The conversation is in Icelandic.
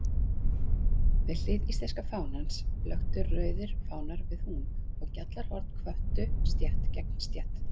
Við hlið íslenska fánans blöktu rauðir fánar við hún, og gjallarhorn hvöttu stétt gegn stétt.